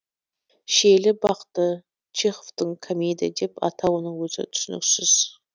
шиелі бақты чеховтің комедия деп атауының өзі түсініксіз